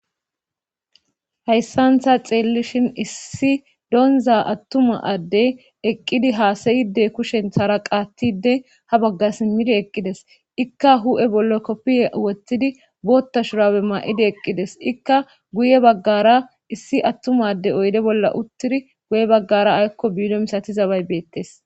Hayssan ta xeelishi issi donza atuma adde eqqidi haasayide kushentara qaatide ha baga simidi eqqidees. izikka hu'e bolla kofiye wotidi boththa shurabe mayidi eqidees. guy bagara issi atuma adde oyde bolla utidi goye bagara aykko biiro misatizabay beetees.